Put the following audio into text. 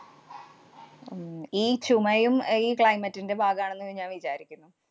ഉം ഈ ചുമയും അഹ് ഈ climate ന്‍റെ ഭാഗാണെന്ന് ഞാന്‍ വിചാരിക്കുന്നു.